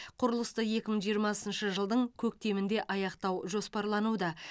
құрылысты екі мың жиырмасыншы жылдың көктемінде аяқтау жоспарлануда